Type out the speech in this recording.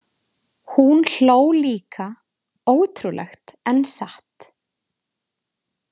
Hún hló líka, ótrúlegt en satt.